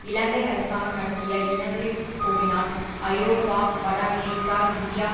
இலங்கை அரசாங்கம் நடத்திய இனவெறி போரினால் ஐரோப்பா வட அமெரிக்கா இந்தியா